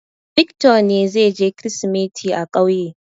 Victor ne zai je Kirsimeti a ƙauye.